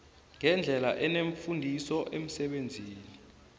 ngendlela enefundiso emsebenzini